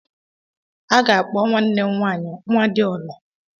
A ga-akpọ nwanne m nwanyị "Nwadialor"